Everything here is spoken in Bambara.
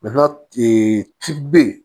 ci be yen